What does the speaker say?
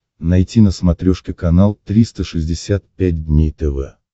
найти на смотрешке канал триста шестьдесят пять дней тв